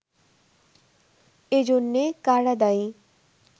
এজন্যে কারা দায়ী